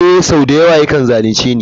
Ee sau da yawa yakan zalunce ni.